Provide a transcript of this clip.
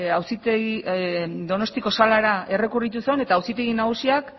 donostiako salara errekurritu zuen eta auzitegi nagusiak